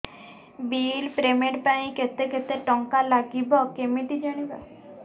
bill payment ପାଇଁ କେତେ କେତେ ଟଙ୍କା ଲାଗିବ କେମିତି ଜାଣିବି